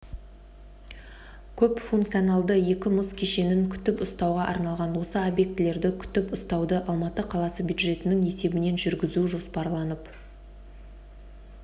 көпфункционалды екі мұз кешенін күтіп-ұстауға арналған осы объектілерді күтіп-ұстауды алматы қаласы бюджетінің есебінен жүргізу жоспарланып